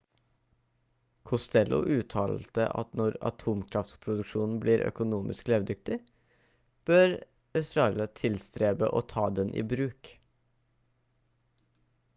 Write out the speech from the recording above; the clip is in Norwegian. costello uttalte at når atomkraftproduksjonen blir økonomisk levedyktig bør australia tilstrebe å ta den i bruk